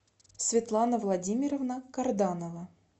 светлана владимировна карданова